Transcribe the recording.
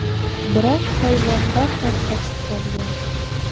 Biroq hayvon darhol qochib qolgan.